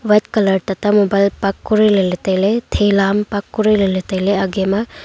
red colour tata mobile park kurile ley tailey thela am park kurile ley tailey aage ma.